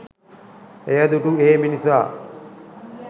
එය දුටු ඒ මිනිසා